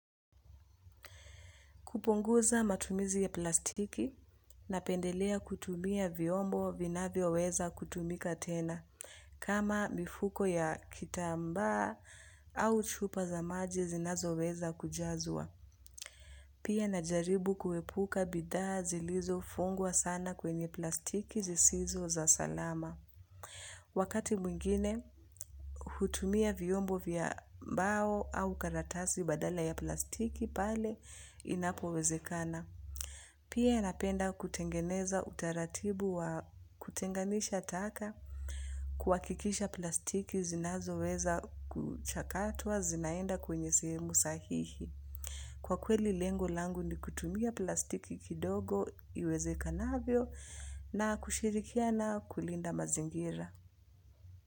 Kupunguza matumizi ya plastiki napendelea kutumia vyombo vinavyoweza kutumika tena kama mifuko ya kitambaa au chupa za maji zinazo weza kujazwa. Pia najaribu kuepuka bidhaa zilizofungwa sana kwenye plastiki zisizo za salama. Wakati mwingine hutumia vyombo vya mbao au karatasi badala ya plastiki pale inapowezekana. Pia napenda kutengeneza utaratibu wa kutenganisha taka kuhakikisha plastiki zinazoweza kuchakatwa zinaenda kwenye sehemu sahihi. Kwa kweli lengo langu ni kutumia plastiki kidogo iwezekanavyo na kushirikiana kulinda mazingira.